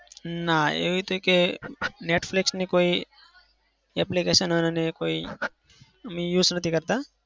ના એવી તો એકેય netflix ની કોઈ application અને કોઈ અમે use નથી કરતા.